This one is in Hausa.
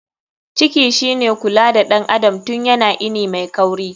Ciki shine kula da ɗan adam tun yana ini mai kauri.